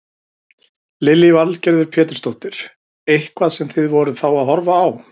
Lillý Valgerður Pétursdóttir: Eitthvað sem þið voruð þá að horfa á?